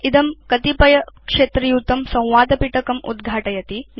इदं कतिपयक्षेत्रयुतं संवादपिटकम् उद्घाटयति